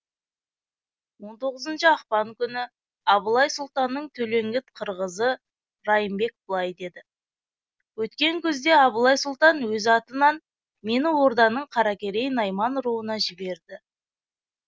он тоғызыншы ақпан күні абылай сұлтанның төлеңгіт қырғызы райымбек былай деді өткен күзде абылай сұлтан өз атынан мені орданың қаракерей найман руына жіберді